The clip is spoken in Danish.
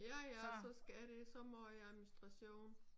Ja ja så skal de så måj administration